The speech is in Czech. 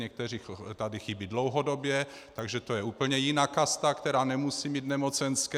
Někteří tady chybí dlouhodobě, takže to je úplně jiná kasta, která nemusí mít nemocenské.